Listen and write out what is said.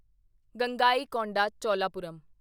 Gangaikonda Cholapuram